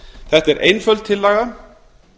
þetta er einföld tillaga